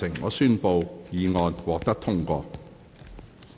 我宣布議案獲得通過。